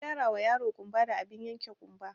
Na gyarawa yaro ƙumba da abin yanke ƙumba